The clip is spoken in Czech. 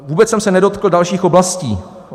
Vůbec jsem se nedotkl dalších oblastí.